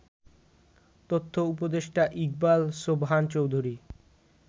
তথ্য উপদেষ্টা ইকবাল সোবহান চৌধুরী